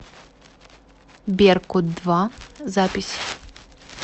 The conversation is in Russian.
беркут два запись